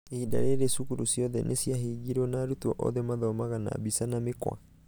ihinda rĩrĩ cukuru ciothe nĩciahingirwo na arutwo othe mathomaga na mbica na mĩkwa.